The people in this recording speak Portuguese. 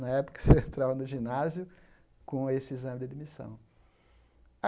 Na época, você entrava no ginásio com esse exame de admissão.